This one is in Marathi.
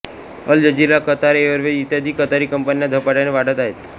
अल जजीरा कतार एअरवेज इत्यादी कतारी कंपन्या झपाट्याने वाढत आहेत